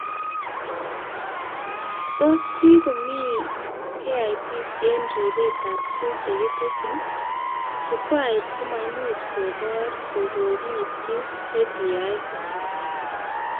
Tos kikomi KIPs eng ribetab tuguk chekitesyi, chukwait komaimuch kobor kokikiitin KPIs chu